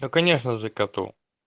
да конечно же коту